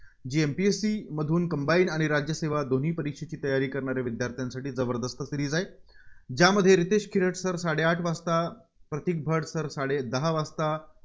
जी MPSC मधून combine आणि राज्यसेवा दोन्ही परीक्षांची तयारी करणारे विद्यार्थ्यांसाठी जबरदस्त series आहे. ज्यामध्ये रितेश किरट sir साडेआठ वाजता प्रतीक भट sir साडेदहा वाजता